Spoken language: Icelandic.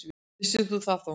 Vissi það þó.